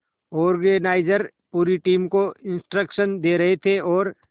organiser पूरी team को instruction दे रहे थे और